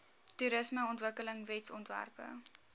toerismeontwikkelingwetsontwerpe